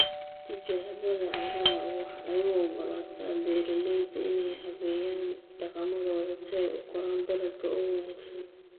Tijaabada carrada waxay u ogolaataa beeralayda inay habeeyaan dhaqamadooda si ay u koraan dalagga oo wanaagsan.